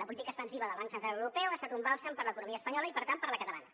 la política expansiva del banc central europeu ha estat un bàlsam per a l’economia espanyola i per tant per a la catalana